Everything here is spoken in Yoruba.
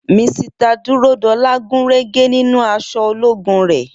Misita Dúródolá gúnrégé nínú aṣọ ológun rè